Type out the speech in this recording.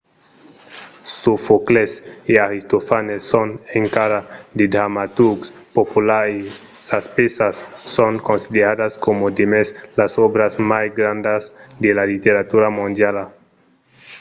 sofòcles e aristofanes son encara de dramaturgs populars e sas pèças son consideradas coma demest las òbras mai grandas de la literatura mondiala